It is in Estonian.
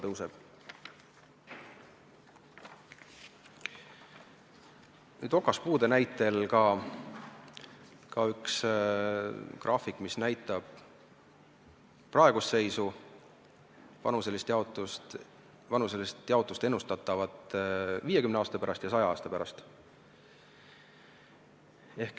Nüüd, siin on ka okaspuude näitel üks graafik, mis näitab praegust seisu ning ennustatavat vanuselist jaotust 50 aasta pärast ja 100 aasta pärast.